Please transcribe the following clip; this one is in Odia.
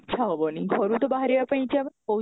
ଇଚ୍ଛା ହେବନି ଘରୁ ତ ବାହାରିବା ପାଇଁ ଇଚ୍ଛା କୋଉ